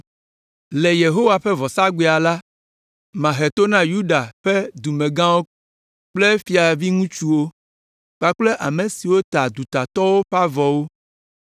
“Le Yehowa ƒe vɔsagbea la, mahe to na Yuda ƒe dumegãwo kple fiaviŋutsuwo, kpakple ame siwo ta dutatɔwo ƒe avɔwo.